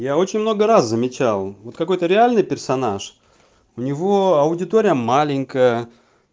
я очень много раз замечал вот какой-то реальный персонаж у него аудитория маленькая